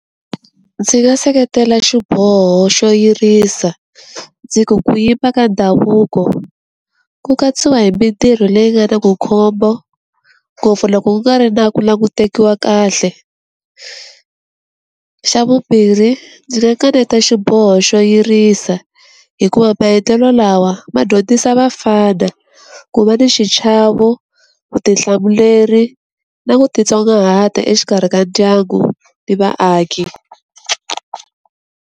Ndzi nga seketela xiboho xo yirisa, ndzi ku ku yimba ka ndhavuko ku katsiwa hi mintirho leyi nga na vukhombo ngopfu loko ku nga ri na ku languteriwa kahle. Xa vumbirhi ndzi nga kaneta xiboho xo yirisa hikuva maendlelo lawa ma dyondzisa vafana ku va ni xichavo, vutihlamuleri na ku titsongahata exikarhi ka ndyangu ni vaaki.